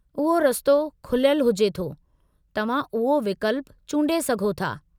उहो रस्तो खुलियलु हुजे थो, तव्हां उहो विकल्पु चूंडे सघो था।